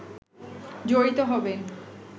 জড়িত হবেন